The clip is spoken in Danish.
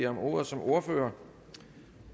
om ordet som ordfører